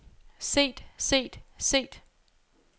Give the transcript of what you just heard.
set set set